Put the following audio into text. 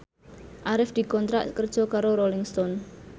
Arif dikontrak kerja karo Rolling Stone